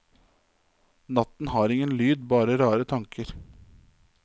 Natten har ingen lyd, bare rare tanker.